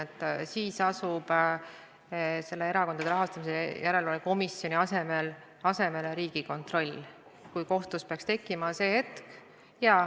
Jah, siis asub Erakondade Rahastamise Järelevalve Komisjoni asemele Riigikontroll, kui kohtus peaks tekkima selline hetk.